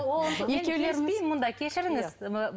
келіспеймін мұнда кешіріңіз